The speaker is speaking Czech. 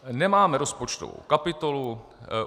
Nemám rozpočtovou kapitolou.